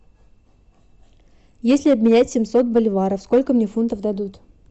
если обменять семьсот боливаров сколько мне фунтов дадут